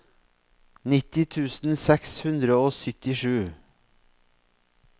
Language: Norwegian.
nitten tusen seks hundre og syttisju